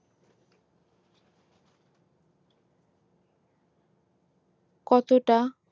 কতটা